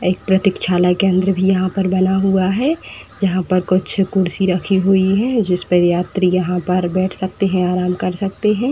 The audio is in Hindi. एक प्रतिछालय केंद्र भी यहाँ पर बना हुआ है। जहां पर कुछ कुर्सी रखी हुइ है जिस पर यात्री यहाँ पर बैठ सकते हैं आराम कर सकते हैं।